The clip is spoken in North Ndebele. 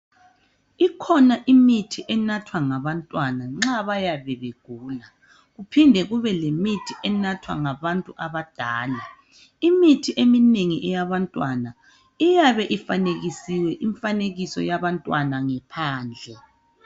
Ikhona imithi anathwa labantwana nxa bayabe begula. Kupinde kube lemithi enathwa labantu abadala. Imithi eminengi eyabantwana iyabe ifanekisiwe imfanekiso yabantwana ngaphandle.